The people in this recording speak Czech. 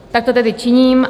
Tak to tedy činím.